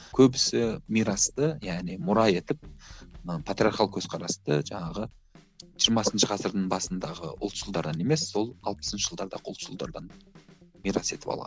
көбісі мирасты яғни мұра етіп мына патриархал көзқарасты жаңағы жиырмасыншы ғасырдың басындағы ұлшылдардан емес сол алпысыншы жылдардағы ұлтшылдардан мирас етіп алған